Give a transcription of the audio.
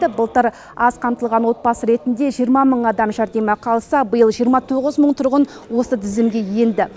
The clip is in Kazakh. былтыр аз қамтылған отбасы ретінде жиырма мың адам жәрдемақы алса биыл жиырма тоғыз мың тұрғын осы тізімге енді